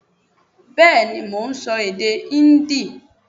Bẹ́ẹ̀ni mo n so èdè Híndì